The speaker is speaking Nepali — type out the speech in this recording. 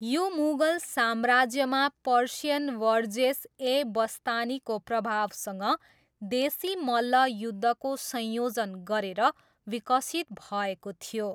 यो मुगल साम्राज्यमा, पर्सियन वर्जेस ए बस्तानीको प्रभावसँग देशी मल्ल युद्धको संयोजन गरेर विकसित भएको थियो।